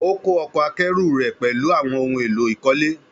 Ó kó ọkọ̀ akẹ́rù rẹ̀ pẹ̀lú àwọn ohun èlò ìkọ́lé.